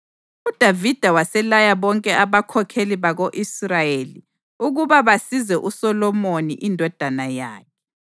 UDavida waselaya bonke abakhokheli bako-Israyeli ukuba basize uSolomoni indodana yakhe.